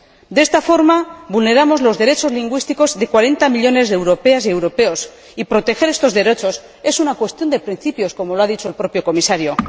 De esta forma, vulneramos los derechos lingüísticos de 40 millones de europeas y europeos, y proteger estos derechos es una cuestión de principios, como lo ha dicho el propio Comisario.